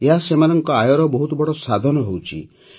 ଏହା ସେମାନଙ୍କ ଆୟର ବହୁତ ବଡ଼ ସାଧନ ହେଉଛି